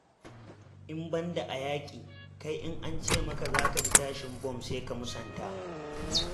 In ban da a yaƙi, kai in an ce maka za ka ji tashin bom sai ka musanta.